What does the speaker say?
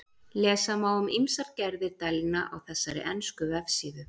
Lesa má um ýmsar gerðir dælna á þessari ensku vefsíðu.